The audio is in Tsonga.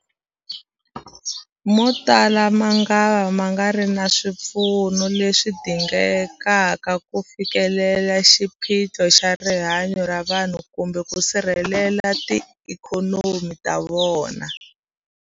Motala mangava ma nga ri na swipfuno leswi dingekaka ku fikelela xiphiqo xa rihanyu ra vanhu kumbe ku sirhelela tiikhonomi ta vona.